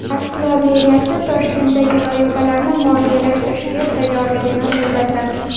Moskva meriyasi Toshkentdagi loyihalarni moliyalashtirishga tayyorligini bildirdi.